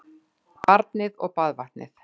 Barnið og baðvatnið